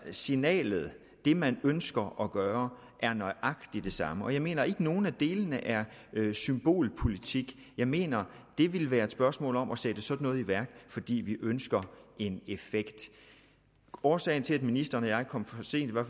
signalet det man ønsker at gøre er nøjagtig det samme og jeg mener ikke at nogen af delene er symbolpolitik jeg mener det ville være et spørgsmål om at sætte sådan noget i værk fordi vi ønsker en effekt årsagen til at ministeren og jeg kom for sent var